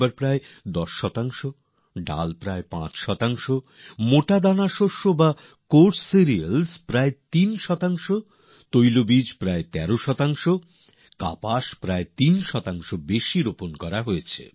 ধান প্রায় ১০ শতাংশ ডাল প্রায় ৫ শতাংশ মোটা দানাশস্য কোয়ার্স সিরিল্স প্রায় ৩ শতাংশ তেলবীজ প্রায় ১৩ শতাংশ কার্পাস প্রায় ৩ শতাংশ বেশি রোপন করা হয়েছে